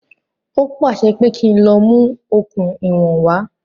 Ó pàṣẹ pé kí n lọ mú okùn ìwọ̀n wá